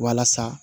Walasa